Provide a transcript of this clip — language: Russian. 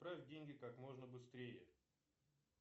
отправь деньги как можно быстрее